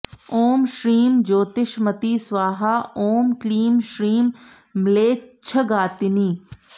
ॐ श्रीं ज्योतिष्मती स्वाहा ॐ क्लीं श्रीं म्लेच्छघातिनी